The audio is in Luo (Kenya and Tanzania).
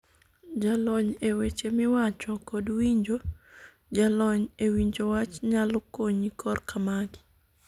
jalony e weche miwacho kod winjo jalony e winjo wach nyalo konyi korka magi.